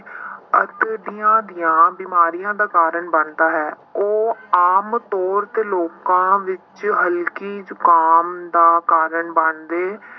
ਦੀਆਂ ਦੀਆਂ ਬਿਮਾਰੀਆਂ ਦਾ ਕਾਰਨ ਬਣਦਾ ਹੈ ਉਹ ਆਮ ਤੌਰ ਤੇ ਲੋਕਾਂ ਵਿੱਚ ਹਲਕੀ ਜੁਕਾਮ ਦਾ ਕਾਰਨ ਬਣਦੇ